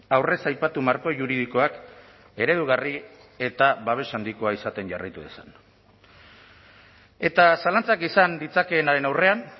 aurrez aipatu marko juridikoak eredugarri eta babes handikoa izaten jarraitu dezan eta zalantzak izan ditzakeenaren aurrean